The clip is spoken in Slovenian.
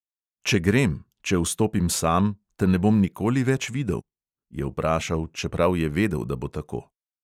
"Če grem, če vstopim sam, te ne bom nikoli več videl?" je vprašal, čeprav je vedel, da bo tako.